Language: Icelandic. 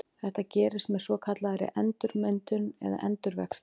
Þetta gerist með svokallaðri endurmyndun eða endurvexti.